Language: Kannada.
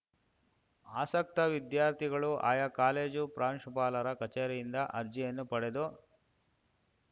ಆಸಕ್ತ ವಿದ್ಯಾರ್ಥಿಗಳು ಆಯಾ ಕಾಲೇಜು ಪ್ರಾಂಶುಪಾಲರ ಕಚೇರಿಯಿಂದ ಅರ್ಜಿಯನ್ನು ಪಡೆದು